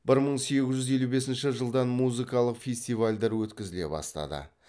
бір мың сегіз жүз елу бесінші жылдан музыкалық фестивальдар өткізіле бастады